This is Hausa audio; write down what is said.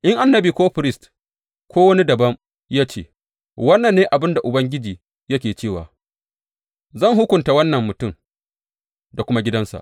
In annabi ko firist ko da wani dabam ya ce, Wannan ne abin da Ubangiji yake cewa,’ zan hukunta wannan mutum da kuma gidansa.